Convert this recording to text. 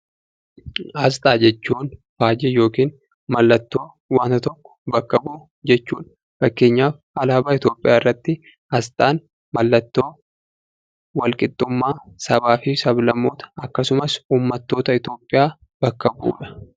Aasxaa jechuun faajjii yookiin mallattoo wanta tokko bakka bu'u jechuudha. Fakkeenyaaf alaabaa Itoopiyaa irratti aasxaan mallattoo walqixxummaa sabaafi sablammoota akkasumas uummattoota Itoopiyaa bakka bu'udha.